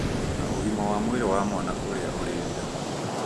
na ũgima wa mwĩrĩ wa mwana ũrĩa ũrĩ nda